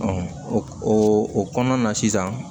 o o kɔnɔna na sisan